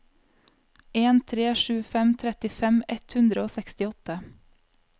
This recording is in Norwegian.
en tre sju fem trettifem ett hundre og sekstiåtte